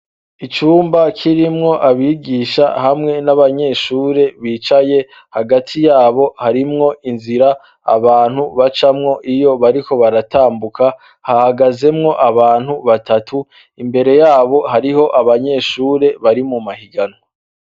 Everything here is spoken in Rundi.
Icumba kirimwo abigisha hamwe n'abanyeshure bicaye hagati yabo harimwo inzira abantu bacamwo iyo bariko baratambuka hahagazemwo abantu batatu imbere yabo hariho abanyeshure bari mu mahiganwa.